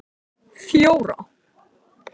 fjóra